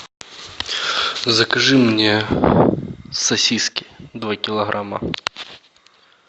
закажи мне сосиски два килограмма